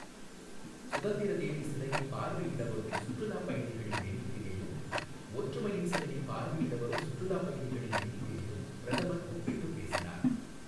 சுதந்திர தேவி சிலையைப் பார்வையிட வரும் சுற்றுலாப் பயணிகளின் எண்ணிக்கையையும், ஒற்றுமையின் சிலையை பார்வையிட வரும் சுற்றுலாப் பயணிகளின் எண்ணிக்கையைும் பிரதமர் ஒப்பிட்டுப் பேசினார்.